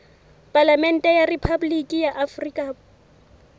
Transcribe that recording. palamente ya rephaboliki ya afrika